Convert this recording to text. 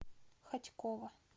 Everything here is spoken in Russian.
хотьково